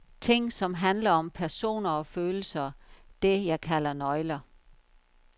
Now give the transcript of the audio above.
Ting, som handler om personer og følelser, det jeg kalder nøgler.